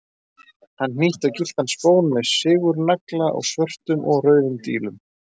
Hann hnýtti á gylltan spón með sigurnagla og svörtum og rauðum dílum.